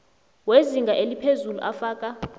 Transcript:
wezinga eliphezulu afaka